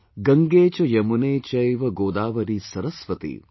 Gange cha yamune chaiva Godavari saraswati